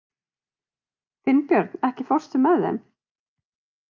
Finnbjörn, ekki fórstu með þeim?